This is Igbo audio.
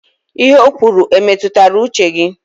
Ihe o kwuru e metụtara uche gị?